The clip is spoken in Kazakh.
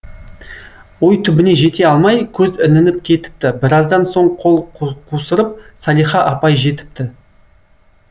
ой түбіне жете алмай көз ілініп кетіпті біраздан соң қол қусырып салиха апай жетіпті